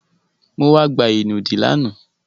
Mo wá gba ìnùdí lánàá.